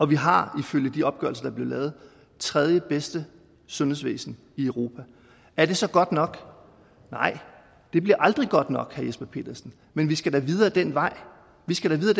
vi har ifølge de opgørelser der er blevet lavet det tredjebedste sundhedsvæsen i europa er det så godt nok nej det bliver aldrig godt nok vil jesper petersen men vi skal da videre ad den vej vi skal da videre